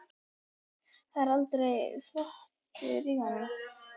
Það var aldrei þvottur í honum.